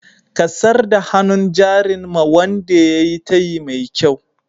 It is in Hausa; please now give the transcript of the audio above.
Ka sar da hannun jarin ma'wande yayi tayyi mai kyau.